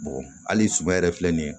hali suma yɛrɛ filɛ nin ye